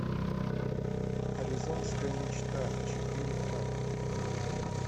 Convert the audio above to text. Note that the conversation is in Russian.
аризонская мечта четыре ка